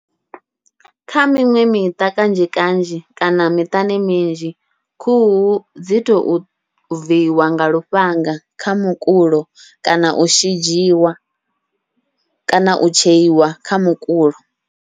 Kha miṅwe miṱa kanzhi kanzhi kana miṱani minzhi, khuhu dzi tou viiwa nga lufhanga kha mukulo kana u shidzhiwa kana u tsheiwa kha mukulo.